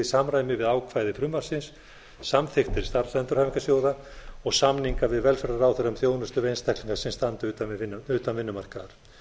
samræmi við ákvæði frumvarpsins samþykktir starfsendurhæfingarsjóða og samninga við velferðarráðherra um þjónustu við einstaklinga sem standa utan vinnumarkaðar